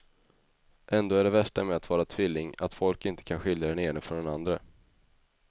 Ändå är det värsta med att vara tvilling att folk inte kan skilja den ene från den andre.